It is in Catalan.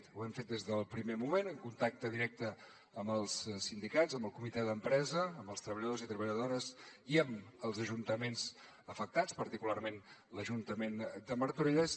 ho hem fet des del primer moment en contacte directe amb els sindicats amb el comitè d’empresa amb els treballadors i treballadores i amb els ajuntaments afectats particularment l’ajuntament de martorelles